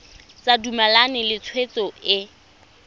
sa dumalane le tshwetso e